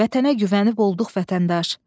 Vətənə güvənib olduq vətəndaş.